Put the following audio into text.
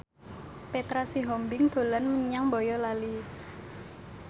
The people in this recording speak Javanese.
Petra Sihombing dolan menyang Boyolali